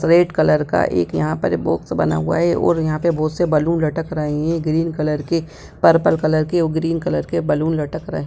red colour का एक यहाँ पर बॉक्स बना हुआ है और यहाँ पे बोहोत से बलून लटक रहे है ग्रीन कलर के पर्पल कलर के और ग्रीन कलर के बलून लटक रहे--